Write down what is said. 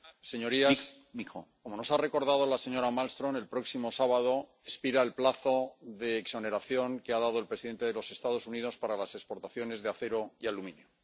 Señor presidente, señorías, como nos ha recordado la señora Malmström, el próximo sábado expira el plazo de exoneración que ha dado el presidente de los Estados Unidos para las exportaciones de acero y aluminio.